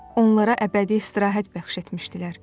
Onlara əbədi istirahət bəxş etmişdilər.